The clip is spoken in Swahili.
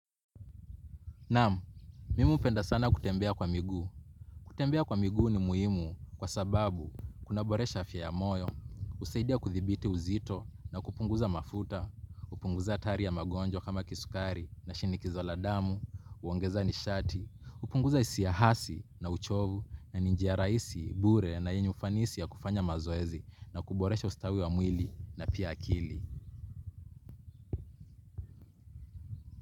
Naam, mimi hupenda sana kutembea kwa miguu. Kutembea kwa miguu ni muhimu kwa sababu kuna boresha afya ya moyo, husaidia kuthibiti uzito na kupunguza mafuta, kupunguza hatari ya mgonjwa kama kisukari na shinikizo la damu, huongeza nishati, kupunguza hisia hasi na uchovu na ni njia rahisi, bure na yenye ufanisi ya kufanya mazoezi na kuboresha ustawi wa mwili na pia akili.